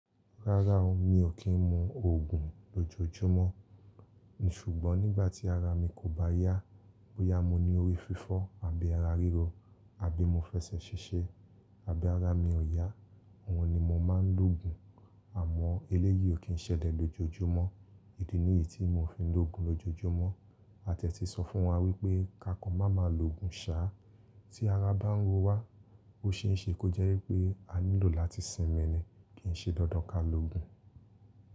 Rárá o, mi ò kí ń mu ògùn lójoojúmọ́. Ṣùgbọ́n nígbà tí ara mi kò bá yá, bóyá mo ní orí fífọ́ àbí ara ríro, àbí mo fẹsẹ̀ ṣiṣẹ́, àbí ara mi ò yá, òhun ni mo máa ń lòògùn. Àmọ́ eléyìí ò kí ń ṣẹlẹ̀ lójoojúmọ́. Èdè niyìí tí mo fi ń lòògùn lójoojúmọ́. A ti ẹ ti sọ fún wa wípé ká kan máa ma lòògùn sá. Tí ara bá ń ro wa, ó ṣe é ṣe kó jẹ́ wípé a nílò láti sinmi ni kì ń ṣe dandan ká lòògùn.